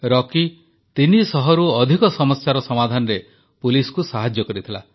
ରକି 300ରୁ ଅଧିକ ସମସ୍ୟାର ସମାଧାନରେ ପୁଲିସକୁ ସାହାଯ୍ୟ କରିଥିଲା